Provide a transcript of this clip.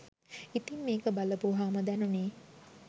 ඉතිං මේක බලපුවහම දැනුණේ